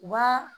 U b'a